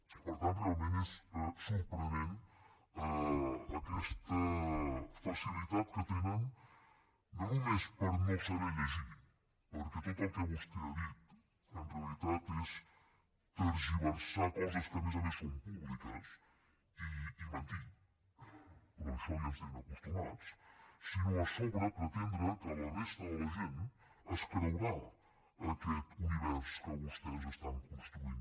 i per tant realment és sorprenent aquesta facilitat que tenen no només per no saber llegir perquè tot el que vostè ha dit en realitat és tergiversar coses que a més a més són públiques i mentir però a això ja ens hi tenen acostumats sinó a sobre pretendre que la resta de la gent es creurà aquest univers que vostès estan construint